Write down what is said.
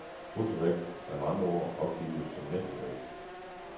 Bruttovægt er med andre ord opgivet som nettovægt.